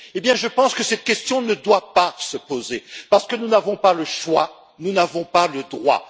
Eh bien, je pense que cette question ne doit pas se poser, parce que nous n'avons pas le choix, nous n'avons pas le droit.